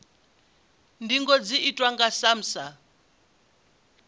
ndingo dzi itwa nga samsa